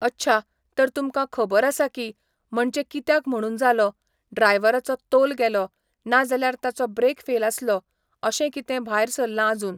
अच्छा, तर तुमकां खबर आसा की, म्हणचे कित्याक म्हणून जालो, ड्रायव्हराचो तोल गेलो, ना जाल्यार ताचो ब्रॅक फेल आसलो, अशें कितें भायर सरलां आजून